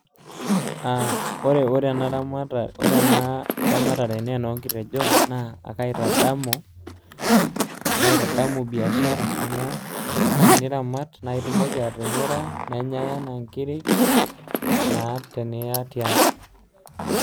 Aa , ore ena, ore ena , ore ena ramatare naa enoonkitejon na ekaitaamu , ekatadamu biashara amu teniramat naa itumoki atimira, nenyae anaa inkiri naa teniya tiang .